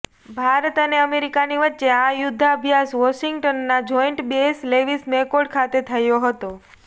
ભારત અને અમેરિકાની વચ્ચે આ યુદ્ધાભ્યાસ વોશિંગ્ટનના જોઈન્ટ બેસ લેવિસ મેકોર્ડ ખાતે થયો હતો